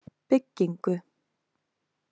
Byggingu